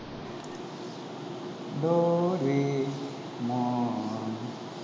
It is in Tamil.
டோரேமான்